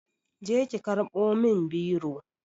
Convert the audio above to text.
Je ki karɓo min biro